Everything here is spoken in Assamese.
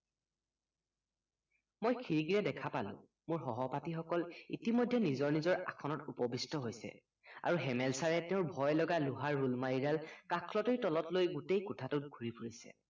মই খিৰিকেৰে দেখা পালো মোৰ সহপাঠীসকল ইতিমধ্য়ে নিজৰ নিজৰ আসনত উপবিস্ট হৈছে আৰু হেমেল চাৰে তেওৰ ভয় লগা লোহাৰ ৰোলমাৰিডাল কাষলতিৰ তলত লৈ গুটেই কোঠাটোত ঘূৰি ফুৰিছে